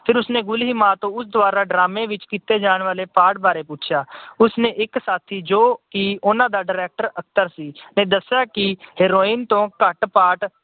ਫਿਰ ਉਸਨੇ ਗੁਲੀਮਾ ਤੋਂ ਉਸ ਦੁਆਰਾ drama ਵਿੱਚ ਕੀਤੇ ਜਾਣ ਵਾਲੇ part ਵਾਰੇ ਪੁੱਛਿਆ। ਉਸਨੇ ਇੱਕ ਸਾਥੀ ਜਿਹੜਾ ਉਹਨਾਂ ਦਾ director ਅਖਤਰ ਸੀ, ਨੇ ਦੱਸਿਆ ਕਿ heroine ਤੋਂ ਘੱਟ part